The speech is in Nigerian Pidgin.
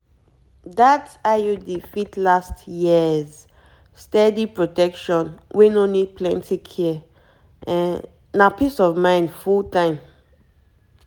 that iud fit last yearssteady protection wey no need plenty care na peace of mind full time